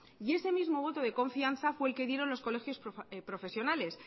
y ese mismo voto de confianza fue el que dieron los colegios profesionales